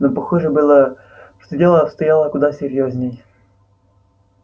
но похоже было что дело обстояло куда серьёзнее